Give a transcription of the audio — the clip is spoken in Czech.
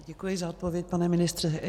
Děkuji za odpověď, pane ministře.